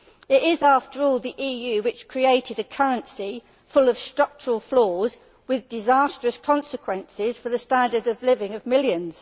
It is after all the EU which created a currency full of structural flaws with disastrous consequences for the standard of living of millions.